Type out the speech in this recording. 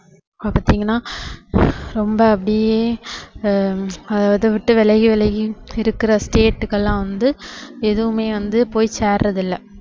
பாத்தீங்கன்னா ரொம்ப அப்படியே ஆஹ் அதைவிட்டு விலகி விலகி இருக்கிற state க்கு எல்லாம் வந்து எதுவுமே வந்து போய் சேர்றதில்ல